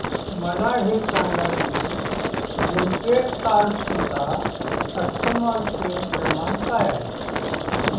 मला हे सांग की लिंकवे कार्स चा कस्टमर केअर क्रमांक काय आहे